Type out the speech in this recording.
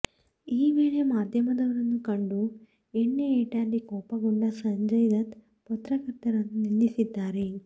ಈ ವೇಳೆ ಮಾಧ್ಯಮದವರನ್ನು ಕಂಡು ಎಣ್ಣೆ ಏಟಲ್ಲಿ ಕೋಪಕೊಂಡ ಸಂಜಯ್ ದತ್ತ ಪತ್ರಕರ್ತರನ್ನು ನಿಂದಿಸಿದ್ದಾರೆ